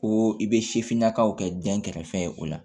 Ko i bɛ sifinnakaw kɛ dɛnkɛrɛfɛ ye o la